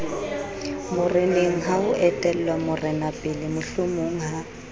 morenengha ho etellwa morenapele mohlomongha